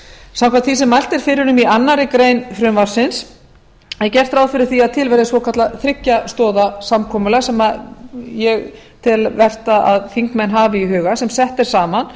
samkvæmt því sem mælt er fyrir í annarri grein frumvarpsins er gert ráð fyrir því að til verði svokallað þriggja stoða fyrirkomulag sem ég tel vert að þingmenn hafi í huga sem sett er saman